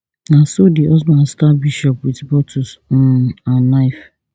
na so di husband stab bishop wit bottles um and knife